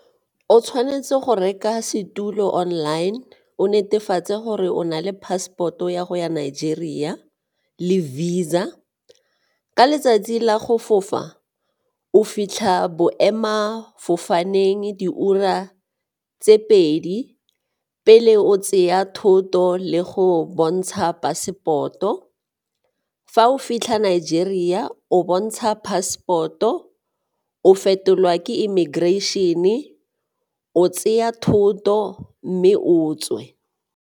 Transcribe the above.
O tshwanetse go reka setulo online, o netefatse gore o na le passport-o ya go ya Nigeria le Visa. Ka letsatsi la go fofa, o fitlha boemela fofaneng diura tse pedi pele o tseya thoto le go bontsha passport-o, fa o fitlha Nigeria o bontsha passport-o, o fetolwa ke immigration-e, o tseya thoto mme o tswe.